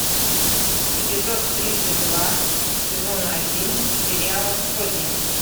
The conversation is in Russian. эпизод тридцать два сезон один сериала сотня